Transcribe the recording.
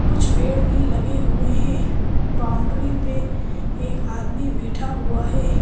कुछ पेड़ भी लगे हुए हैं बाउंड्री पे एक आदमी बैठा हुआ है।